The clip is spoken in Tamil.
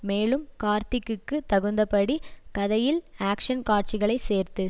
மேலும் கார்த்திக்கு தகுந்தபடி கதையில் ஆக்ஷ்ன் காட்சிகளை சேர்த்து